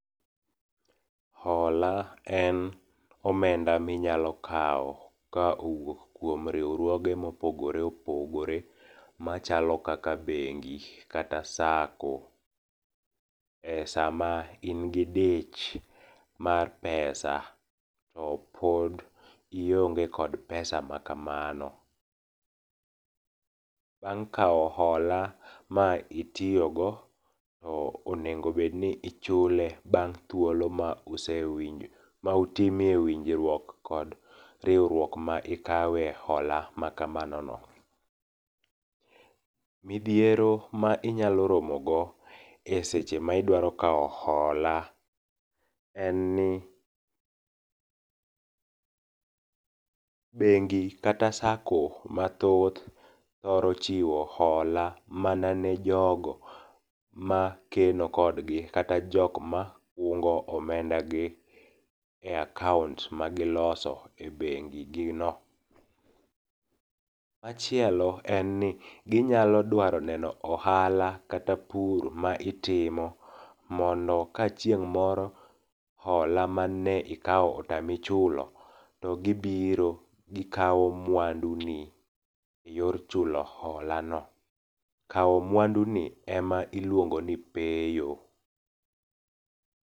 Hola en omenda ma inyalo kawo ka owuok kuom riwruoge mopogore opogore machalo kaka bengi kata sacco e sama in gi dich mar pesa to pod ionge kod pesa makamago. Bang' kawo hola ma itiyogo, to onego bed ni ichule bang' thuolo ma usewinjo ma utime winjruok kod riwruok ma ikawe hola makamano no. Midhiero ma inyalo romogo eseche ma idwaro kawo hola en ni bengi kata sacco mathoth thoro chiwo hola mana ne jogo makeno kodgi kata jok ma kungo omendagi e akaont magiloso ebengi gi no. Machielo en ni ginyalo dwaro neno ohala kata pur ma itimo mondo ka chingh' moro hola mane ikawo otami chulo to gibiro gikawo mwanduni eyor chulo holano. Kawo mwanduni ema iluongo ni peyo.